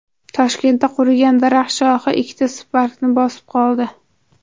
Toshkentda qurigan daraxt shoxi ikkita Spark’ni bosib qoldi.